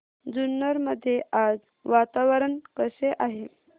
जुन्नर मध्ये आज वातावरण कसे आहे